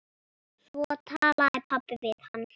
Svo talaði pabbi við hann.